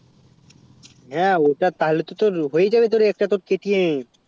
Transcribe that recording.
হেঁ ওটা তালে তো তোর হয়ে যাবে তোর একটা KTM